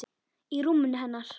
Í rúminu hennar.